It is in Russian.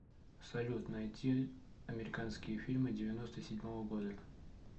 салют найти американские фильмы девяноста седьмого года